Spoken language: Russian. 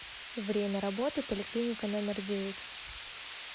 время работы поликлиника номер девять